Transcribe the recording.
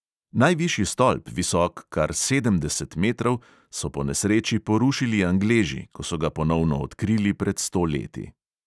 Najvišji stolp, visok kar sedemdeset metrov, so po nesreči porušili angleži, ko so ga ponovno odkrili pred sto leti.